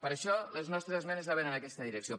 per això les nostres esmenes anaven en aquesta direcció